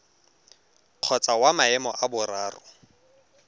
kgotsa wa maemo a boraro